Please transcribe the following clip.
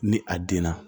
Ni a den na